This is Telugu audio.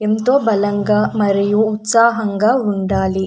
ఎంతో బలంగా మరియు ఉత్సాహంగా ఉండాలి.